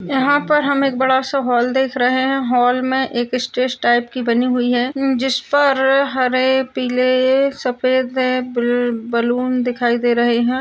यहाँ पर हम बहुत बड़ा सा हाल देख रहे हैं । हाल में एक स्टेज टाइप की बनी हुई है जिस पर हरे पीले सफेद ब बैलून दिखाई दे रहे हैं ।